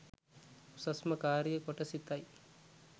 උසස්ම කාරිය කොට සිතයි